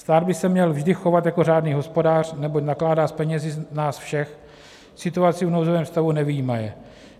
Stát by se měl vždy chovat jako řádný hospodář, neboť nakládá s penězi nás všech, situaci v nouzovém stavu nevyjímaje.